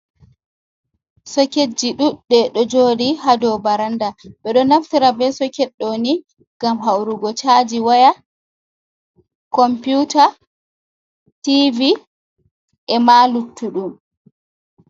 Soketji ɗuɗɗe ɗo joɗi ha ɗou ɓaranɗa, ɓe ɗo naftira ɓe soket ɗoni ngam haurugo chaji waya computa Tv ema luttuɗum.